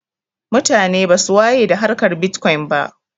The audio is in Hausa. Mutane basu waye da harkar bitkwon ba